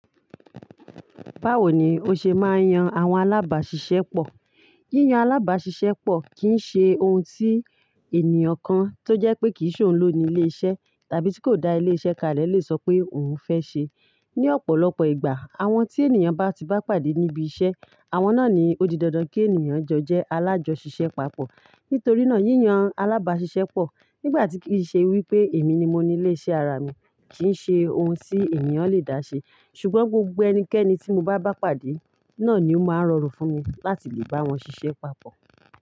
Báwo ni o ṣe máa ń yan àwọn alábàáṣiṣẹ́ pọ̀? Yíyan alábáṣiṣẹ́ pọ̀ kì í ṣe ohun tí ènìyàn kan tó jẹ́ pé kì í ṣòún ló ni ilé-iṣẹ́ tàbí tí kò da ilé-iṣẹ́ kalẹ̀ lè sọ pé òun fẹ́ ṣe. Ni ọ̀pọ̀lọpọ̀ ìgbà, àwọn tí ènìyàn bá ti bá pàdé níbi iṣẹ́, àwọn náà ni ó di dandan kí ènìyàn jọ jẹ́ alájọṣiṣẹ́ papọ̀. Nítorí náà, yíyan alábáṣiṣẹ́ pọ̀ nígbà tí kì í ṣe wípé èmi ni mo ni ilé-iṣẹ́ ara mi kì í ṣe ohun tí ènìyàn lè dá ṣe. Ṣùgbọ́n gbogbo ẹnikẹ́ni tí mo bá bá pàdé náà ni ó máa rọrùn fún mi láti lè bá wọn ṣiṣẹ́ papọ̀.